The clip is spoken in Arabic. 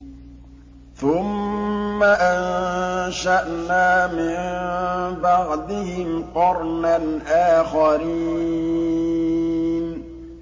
ثُمَّ أَنشَأْنَا مِن بَعْدِهِمْ قَرْنًا آخَرِينَ